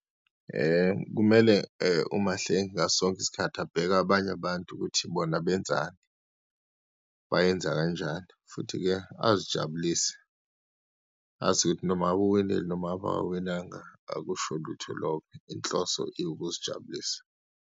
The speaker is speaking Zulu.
Kumele uMahlengi ngaso sonke isikhathi abheke abanye abantu ukuthi bona benzani, bayenza kanjani futhi-ke azijabulise. Azi ukuthi noma ngabe uwinile noma ngabe akawinanga, akusho lutho lokho, inhloso ukuzijabulisa.